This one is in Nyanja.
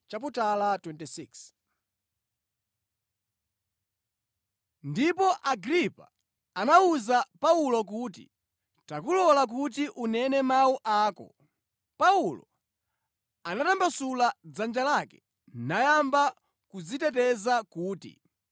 Ndipo Agripa anawuza Paulo kuti, “Takulola kuti unene mawu ako.” Paulo anatambasula dzanja lake nayamba kudziteteza kuti,